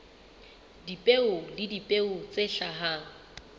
dipeo le dipeo tse hlahang